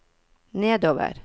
nedover